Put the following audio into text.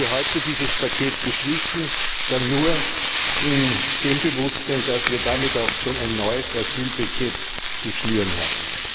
Wenn wir heute dieses Paket beschließen, dann nur in dem Bewusstsein, dass wir damit auch schon ein neues Asylpaket zu schnüren haben.